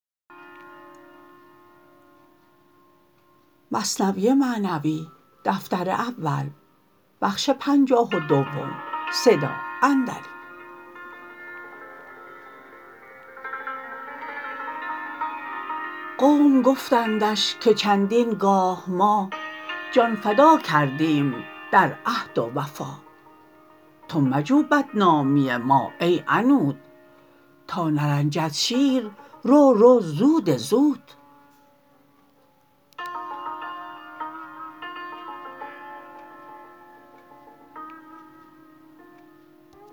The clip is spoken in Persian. قوم گفتندش که چندین گاه ما جان فدا کردیم در عهد و وفا تو مجو بدنامی ما ای عنود تا نرنجد شیر رو رو زود زود